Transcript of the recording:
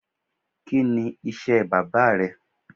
Kini iṣẹ baba rẹ?